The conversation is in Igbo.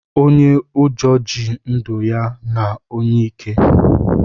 Onye ụjọ ji ndụ ya na onye ike